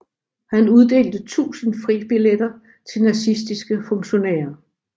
Han uddelte tusind fribilletter til nazistiske funktionærer